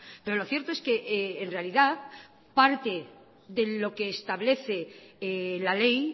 pero lo cierto es que en realidad parte de lo que establece la ley